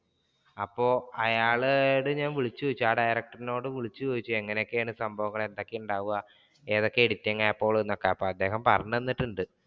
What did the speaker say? അപ്പൊ അയാളോട് ഞാൻ വിളിച്ചു ചോദിച്ചു ആ director നോട് വിളിച്ചു ചോദിച്ചു എങ്ങനൊക്കെയാണ് സംഭവങ്ങൾ എന്തൊക്കെയാണ് ഉണ്ടാവുക ഏതൊക്കെ edit ആപ്പുകൾ അപ്പൊ അദ്ദേഹം പറഞ്ഞു തന്നിട്ടുണ്ട്.